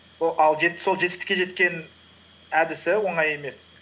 сол жетістікке жеткен әдісі оңай емес